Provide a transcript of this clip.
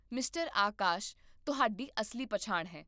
mister Akash ਤੁਹਾਡੀ ਅਸਲੀ ਪਛਾਣ ਹੈ